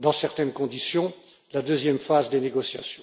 dans certaines conditions, la deuxième phase des négociations.